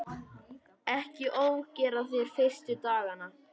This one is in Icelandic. Ekki ofgera þér fyrstu dagana.